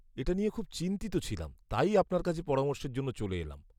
এটা নিয়ে খুব চিন্তিত ছিলাম তাই আপনার কাছে পরামর্শের জন্য চলে এলাম।